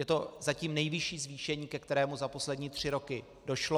Je to zatím nejvyšší zvýšení, ke kterému za poslední tři roky došlo.